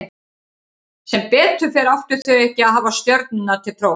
Sem betur fer áttu þau ekki að hafa stjörnurnar til prófs.